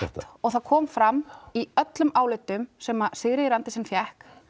og það kom fram í öllum álitum sem Sigríður Andersen fékk